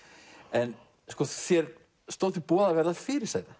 en þér stóð til boða að verða fyrirsæta